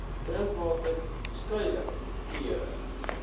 drinkwater skuiling klere